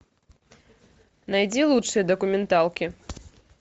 найди лучшие документалки